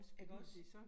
Ikke også